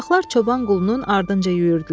Uşaqlar çoban Qulunun ardınca yüyürdülər.